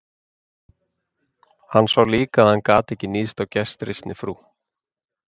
Hann sá líka að hann gat ekki níðst á gestrisni frú